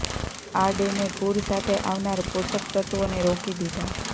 આ ડેમે પૂર સાથે આવનાર પોષક તત્વોને રોકી દીધા